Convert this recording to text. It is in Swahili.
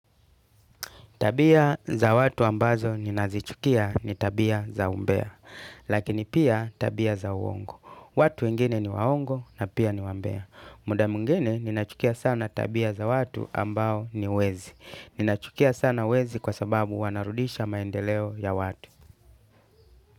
Tabia za watu ambazo ninazichukia ni tabia za umbea, lakini pia tabia za uongo. Watu wengine ni waongo na pia ni wambea. Muda mwingine ninachukia sana tabia za watu ambao ni wezi. Ninachukia sana wezi kwa sababu wanarudisha maendeleo ya watu.